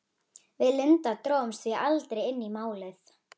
Við Linda drógumst því aldrei inn í Málið.